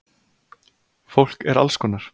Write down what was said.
Fólk er allskonar